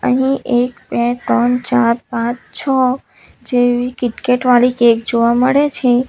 અહીં એક બે ત્રણ ચાર પાંચ છ જેવી કિટકેટ વાલી કેક જોવા મળે છે.